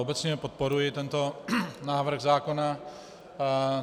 Obecně podporuji tento návrh zákona.